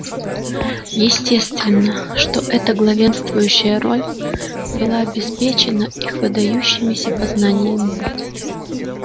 естественно что эта главенствующая роль была обеспечена их выдающимися познаниями